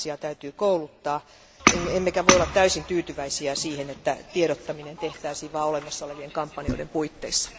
Viranomaisia täytyy kouluttaa, emmekä voi olla täysin tyytyväisiä siihen, että tiedottaminen tehtäisiin vain olemassa olevien kampanjoiden puitteissa.